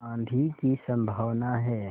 आँधी की संभावना है